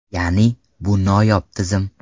Ya’ni, bu noyob tizim.